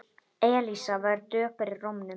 Elísa var döpur í rómnum.